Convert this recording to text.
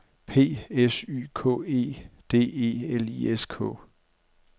P S Y K E D E L I S K